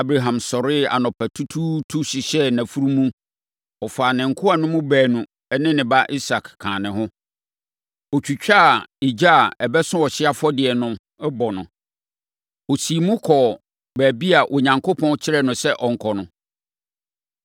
Abraham sɔree anɔpatutuutu hyehyɛɛ nʼafunumu. Ɔfaa ne nkoa no mu baanu ne ne ba Isak kaa ne ho. Ɔtwitwaa egya a ɛbɛso ɔhyeɛ afɔdeɛ no bɔ no, ɔsiim kɔɔ baabi a Onyankopɔn kyerɛɛ no sɛ ɔnkɔ no.